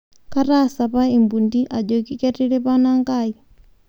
Kaatasapa lmpundi ajoki ketiripa nanga ai